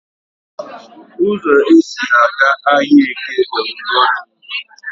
Ụzọ e si aga ahịaEke di ngoringo